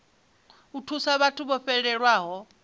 u thusa vhathu vho fhelelwaho